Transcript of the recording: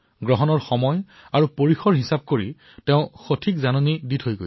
তেওঁ গ্ৰহণৰ সময় আৰু কালখণ্ড গণনা কৰাৰো সঠিক জাননী দিছিল